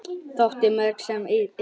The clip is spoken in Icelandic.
Þótti mörgum sem Indriði í